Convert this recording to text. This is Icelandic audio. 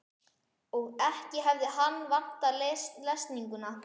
Og ekki hefði hann vantað lesninguna.